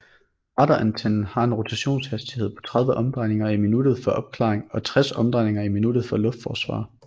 Radarantennen har en rotationshastighed på 30 omdrejninger i minuttet for opklaring og 60 omdrejninger i minuttet for luftforsvar